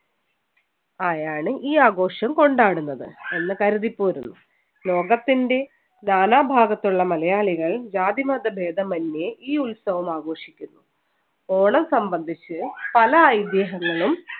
ആയാണ് ഈ ആഘോഷം കൊണ്ടാടുന്നത് എന്ന് കരുതി പോരുന്നു. ലോകത്തിന്‍റെ നാനാഭാഗത്തുള്ള മലയാളികൾ ജാതിമതഭേദമന്യേ ഈ ഉത്സവം ആഘോഷിക്കുന്നു. ഓണം സംബന്ധിച്ച് പല ഐതിഹ്യങ്ങളും